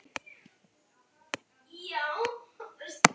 Það gat enginn látið sér detta það í hug.